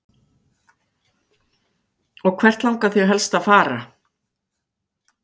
Karen Kjartansdóttir: Og hvert langar þig helst að fara?